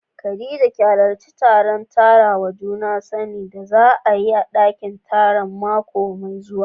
Khadija ki hallarci taron karawa juna sani da za a yi a dakin taro mako mai zuwa.